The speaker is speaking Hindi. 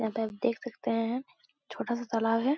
यहां पे आप देख सकते है छोटा सा तालाब है।